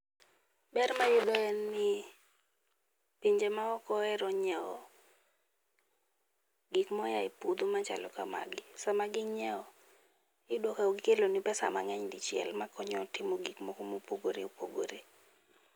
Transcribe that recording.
Ber ma wayudo en ni pinje maoko ohero nyiewo gik moa e puodho machalo kamagi. Iyudo ka gikeloni pesa mang'eny dichiel makonyo timo gik moko mopogore opogore.